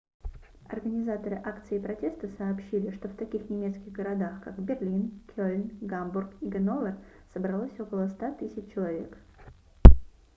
организаторы акции протеста сообщили что в таких немецких городах как берлин кельн гамбург и ганновер собралось около 100 000 человек